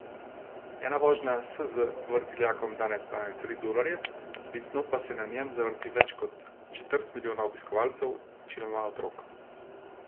Ena vožnja s z vrtiljakom danes stane tri dolarje, letno pa se na njem zavrti več kot četrt milijona obiskovalcev, večinoma otrok.